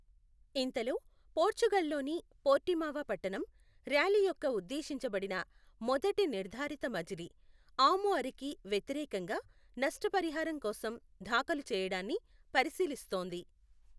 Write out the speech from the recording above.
ఇంతలో, పోర్చుగల్లోని పోర్టిమావ పట్టణం, ర్యాలీ యొక్క ఉద్దేశించబడిన మొదటి నిర్ధారిత మజిలీ, ఆముఅరికి వ్యతిరేకంగా నష్టపరిహారం కోసం దాఖలు చేయడాన్ని పరిశీలిస్తోంది.